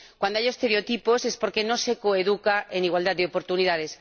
Cuando hay estereotipos es porque no se coeduca en igualdad de oportunidades.